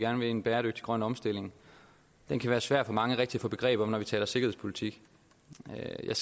om en bæredygtig grøn omstilling kan være svær for mange rigtig at få begreb om når vi taler sikkerhedspolitik jeg